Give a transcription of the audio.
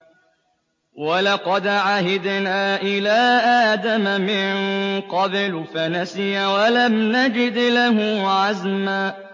وَلَقَدْ عَهِدْنَا إِلَىٰ آدَمَ مِن قَبْلُ فَنَسِيَ وَلَمْ نَجِدْ لَهُ عَزْمًا